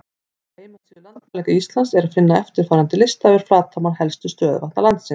Á heimasíðu Landmælinga Íslands er að finna eftirfarandi lista yfir flatarmál helstu stöðuvatna landsins: